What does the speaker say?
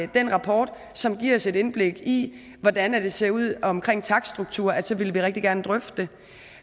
den rapport som giver os et indblik i hvordan det ser ud omkring takststrukturer så vil vi rigtig gerne drøfte det